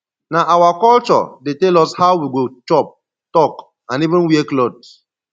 nah our culture dey tell us how we go chop talk and even wear cloth